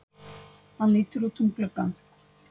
Hann lítur út um gluggann.